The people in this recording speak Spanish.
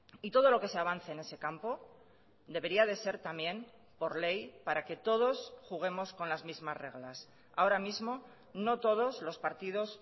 y todo lo que se avance en ese campo debería de ser también por ley para que todos juguemos con las mismas reglas ahora mismo no todos los partidos